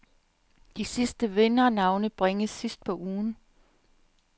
De sidste vindernavne bringes sidst på ugen.